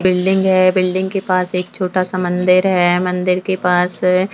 building है building के पास एक छोटा सा मंदिर है मंदिर के पास --